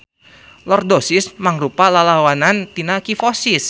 Lordosis mangrupa lalawanan tina kifosis.